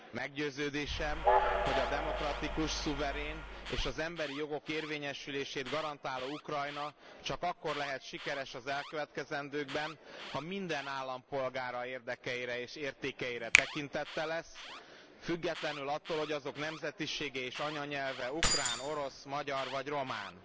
Meggyőződésem, hogy a demokratikus, szuverén és az emberi jogok érvényesülését garantáló Ukrajna csak akkor lehet sikeres az elkövetkezendőkben, ha minden állampolgára érdekeire és értékeire tekintettel lesz, függetlenül attól, hogy azok nemzetisége és anyanyelve ukrán, orosz, magyar vagy román.